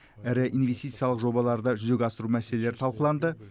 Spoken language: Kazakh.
ірі инвестициялық жобаларды жүзеге асыру мәселелері талқыланды